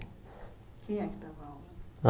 Quem é que dava aula?